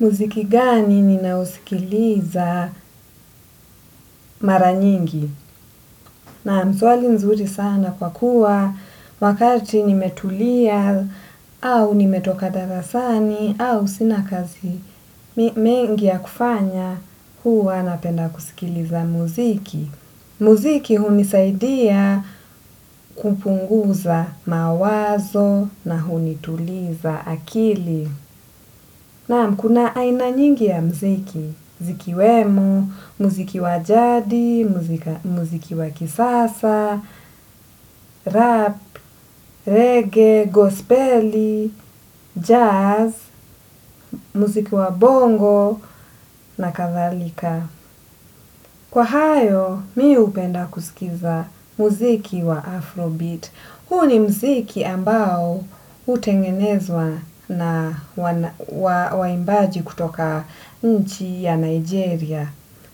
Muziki gani ninausikiliza mara nyingi? Nam swali nzuri sana kwa kuwa wakati nimetulia au nimetoka darasani au sina kazi mengi ya kufanya huwa napenda kusikiliza muziki. Muziki hunisaidia kupunguza mawazo na hunituliza akili. Nam kuna aina nyingi ya mziki, zikiwemu, mziki wa jadi, mziki wa kisasa, rap, reggae, gospelli, jazz, mziki wa bongo na kathalika. Kwa hayo, miu upenda kusikiza mziki wa Afrobeat. Huo ni mziki ambao utengenezwa na waimbaji kutoka nchi ya Nigeria.